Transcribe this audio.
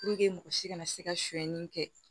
mɔgɔ si kana se ka suɲɛni kɛ